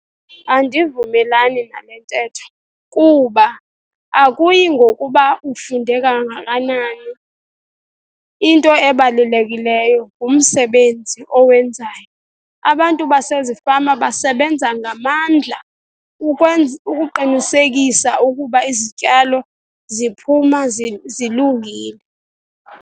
Andivumelani nale ntetho kuba akuyi ngokuba ufunde kangakanani, into ebalulekileyo ngumsebenzi owenzayo. Abantu basezifama basebenza ngamandla ukuqinisekisa ukuba izityalo ziphuma zilungile.